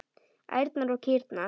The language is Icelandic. Ærnar og kýrnar.